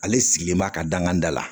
Ale sigilen b'a ka danganda la